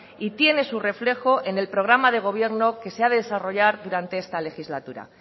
y tiene su reflejo en el programa de gobierno que se ha de desarrollar durante esta legislatura